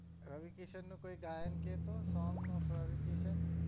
રવિ કિસન નું કોઈ ગાયન કેતો song of રવિ કિસન